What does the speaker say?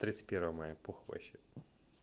тридцать первого мая похуй вообще